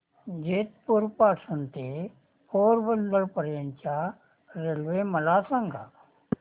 जेतपुर पासून ते पोरबंदर पर्यंत च्या रेल्वे मला सांगा